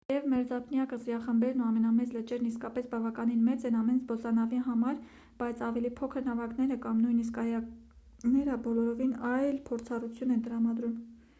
թեև մերձափնյա կղզիախմբերն ու ամենամեծ լճերն իսկապես բավականին մեծ են ամեն զբոսանավի համար բայց ավելի փոքր նավակները կամ նույնիսկ կայակները բոլորովին այլ փորձառություն են տրամադրում